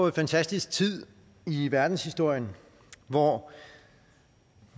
en fantastisk tid i verdenshistorien hvor